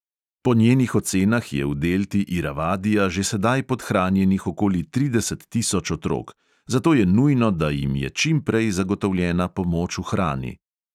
Po njenih ocenah je v delti iravadija že sedaj podhranjenih okoli trideset tisoč otrok, zato je nujno, da jim je čimprej zagotovljena pomoč v hrani.